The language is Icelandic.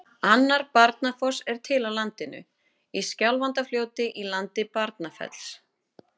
Annar Barnafoss er til á landinu, í Skjálfandafljóti í landi Barnafells.